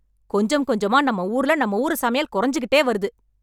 கொஞ்சம் கொஞ்சமா நம்ம ஊர்ல நம்ம ஊரு சமையல் கொறைஞ்சிக்கிட்டே வருது